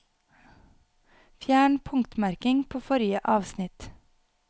Fjern punktmerking på forrige avsnitt